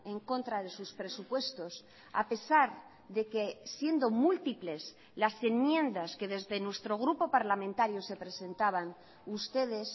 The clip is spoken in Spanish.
en contra de sus presupuestos a pesar de que siendo múltiples las enmiendas que desde nuestro grupo parlamentario se presentaban ustedes